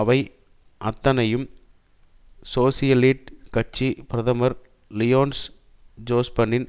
இவை அத்தனையும் சோசியலிட் கட்சி பிரதமர் லியோனஸ் ஜோஸ்பனின்